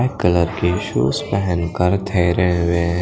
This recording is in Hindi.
पिंक कलर के शूस पहन कर ठहरे हुवे हैं ।